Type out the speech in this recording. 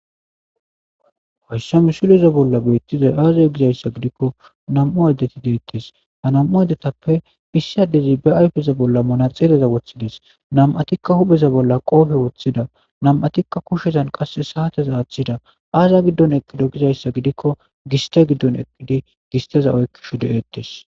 Hayissa missileza bolla bettizay aze gizayissa gidikko nam"u adeti detes ha nam'u adetappe issi adezi be ayfeza bolla manexera woththides nam'atikka hu'eza bolla qofe wothida nam'atikka kushezan qase sate aththida aza gidon eqido gizayissa gidikko giste gidon eqid gisteza oykishshe de'etes